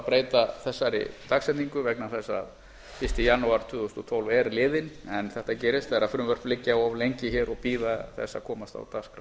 breyta þessari dagsetningu vegna þess að fyrsta janúar tvö þúsund og tólf er liðinn en þetta gerist vegar frumvörp liggja of lengi hér og bíða þess að komast á dagskrá